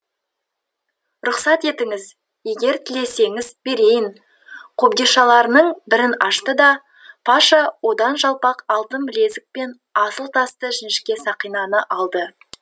рұқсат етіңіз егер тілесеңіз берейін қобдишаларының бірін ашты да паша одан жалпақ алтын білезік пен асыл тасты жіңішке сақинаны алды